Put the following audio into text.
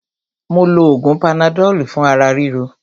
Mó lo oògùn panadọ́lù fún ara ríro.